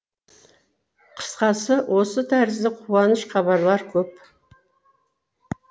қысқасы осы тәрізді қуаныш хабарлар көп